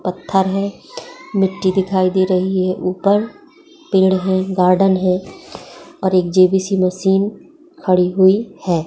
पत्थर है मिट्टी दिखाई दे रही है ऊपर पेड़ है गार्डन है और एक जे.बी.सी मशीन खड़ी हुई है।